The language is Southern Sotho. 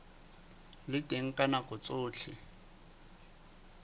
le teng ka nako tsohle